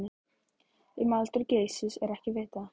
Um aldur Geysis er ekki vitað.